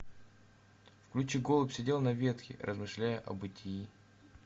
включи голубь сидел на ветке размышляя о бытии